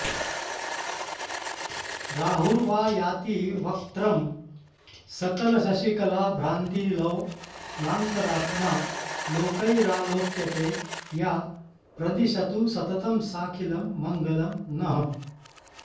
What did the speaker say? राहुर्वा याति वक्त्रं सकलशशिकलाभ्रान्तिलोलान्तरात्मा लोकैरालोक्यते या प्रदिशतु सततं साखिलं मङ्गलं नः